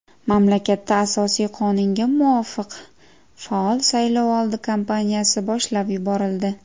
Mamlakatda Asosiy qonunga muvofiq faol saylovoldi kampaniyasi boshlab yuborildi.